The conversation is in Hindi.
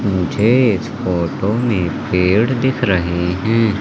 मुझे इस फोटो में पेड़ दिख रहे हैं।